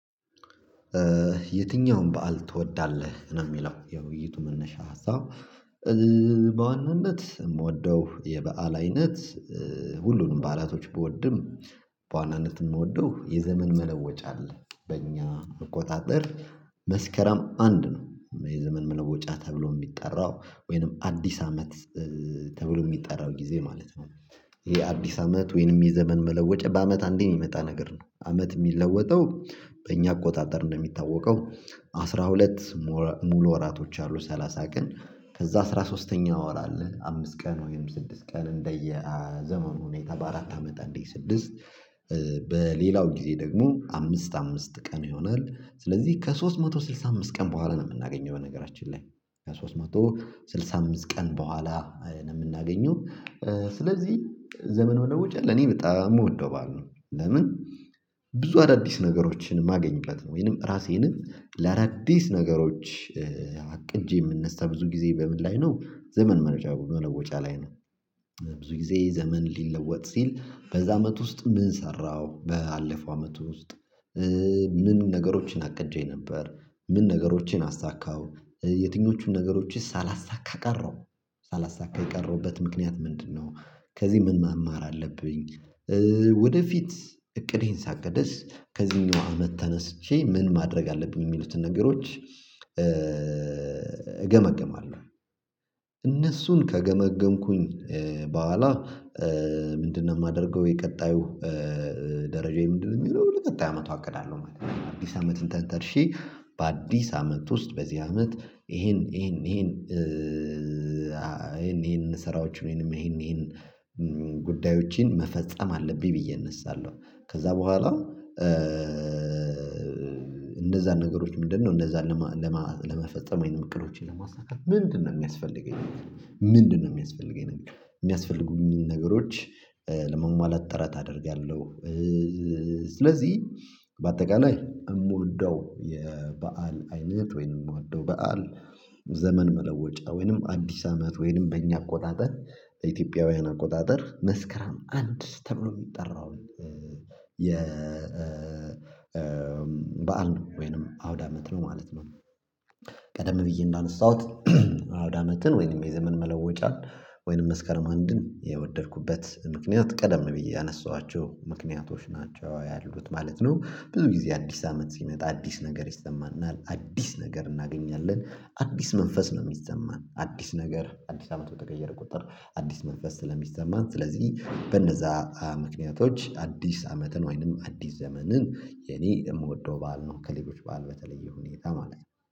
የትኛውን በዓል ትወዳለህ ነው? እሚለው የውይይቱ መነሻ ሀሳብ በዋናነት እምወደው የበአል አይነት ሁሉንም በዓላቶች ብወድም በዋናነት እምወደው የዘመን መለወጫ አለ። በእኛ አቆጣጠር መስከረም አንድ ነው የዘመን መለወጫ ተብሎ እሚጠራው ወይንም አዲስ አመት ተብሎ እሚጠራው ጊዜ ማለት ነው። ይሄ አዲስ አመት ወይንም የዘመን መለወጫ በአመት አንዴ እሚመጣ ነገር ነው አመት እሚለወጠው። በእኛ አቆጣጠር እንደሚታወቀው አስራ ሁለት ሙሉ ወራቶች አሉ። ሰላሳ ቀን ከዛ አስራ ሶስተኛ ወር አለ አምስት ቀን ወይም ስድስት ቀን እንደየ ዘመኑ ሁኔታ በአራት አመት አንዴ ስድስት በሌላው ጊዜ ደግሞ አምስት አምስት ቀን ይሆናል። ስለዚህ ከሶስት መቶ ስልሳ አምስት ቀን በኋላ ነው እምናገኘው በነገራችን ላይ ከሶስት መቶ ስልሳ አምስት ቀን በኋላ ነው እምናገኘው። ስለዚህ ዘመን መለውጫ ለኔ በጣም እምወደው በዓል ነው። ለምን ብዙ አዳዲስ ነገሮችን እማገኝበት ነው። ወይንም ራሴንም ለአዳዲስ ነገሮች አቅጄ እምነሳ ብዙ ጊዜ በምን ላይ ነው ዘመን መለወጫ ላይ ነው። ብዙ ጊዜ ዘመን ሊለወጥ ሲል በዛ አመት ውስጥ ምን ሰራው ባለፈው አመቱ ውስጥ ምን ነገሮችን አቅጄ ነበር። ምን ነገሮችን አሳካሁ። የትኞቹን ነገሮችስ ሳላሳካ ቀረው ሳላሳካ የቀረውበት ምክንያት ምንድነው? ከዚህ ምን መማር አለብኝ። ወደፊት እቅዴን ሳቅድስ ከዚህኛው አመት ተነስቼ ምን ማድረግ አለብኝ እሚሉትን ነገሮች እገመግማለሁ። እነሱን ከገመገምኩኝ በኋላ ምንድነው? እማደርገው የቀጣዩ ደረጃዬ ምንድነው እሚሆነው ለቀጣይ አመቱ አቅዳለሁ ማለት ነው። አዲስ አመትን ተንተርሼ በአዲስ አመት ውስጥ በዚህ አመት ይሄን ይሄን ይሄን ይሄን ይሄን ስራዎች ወይንም ይሄን ይሄን ጉዳዮችን መፈጸም አለብኝ ብዬ እነሳለሁ። ከዝያ በኋላ እነዛን ነገሮች ምንድነው? እነዛን ለመፈጸም ወይንም እቅዶቼን ለማሳካት ምንድነው እሚያስፈልገኝ? ምንድነው እሚያስፈልገኝ? እሚያስፈልጉኝን ነገሮች ለማሟላት ጥረት አደርጋለሁ። ስለዚህ በአጠቃላይ እምወደው የበአል አይነት ወይንም እምወደው በዓል ዘመን መለወጫ ወይንም አዲስ አመት ወይንም በእኛ አቆጣጠር እንደ ኢትዮጵያውያን አቆጣጠር መስከረም አንድ ተብሎ እሚጠራውን የ በዓል ነው። ወይንም አውዳመት ነው ማለት ነው። ቀደም ብዬ እንዳነሳሁት አውዳመትን ወይንም የዘመን መለወጫን ወይንም መስከረም አንድን የወደድኩበት ምክንያት ቀደም ብዬ ያነሳኋቸው ምክንያቶች ናቸው ያሉት ማለት ነው። ብዙ ጊዜ አዲስ አመት ሲመጣ አዲስ ነገር ይሰማናል አዲስ ነገር እናገኛለን አዲስ መንፈስ ነው እሚሰማን አዲስ ነገር አዲስ አመት በተቀየረ ቁጥር አዲስ መንፈስ ስለሚሰማን ስለዚህ በነዛ ምክንያቶች አዲስ አመትን ወይንም አዲስ ዘመንን የኔ የምወደው በዓል ነው። ከሌሎች በዓል በተለየ ሁኔታ ማለት ነው